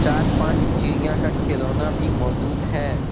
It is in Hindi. चार पांच चिड़िया का खिलौना भी मौजूद है।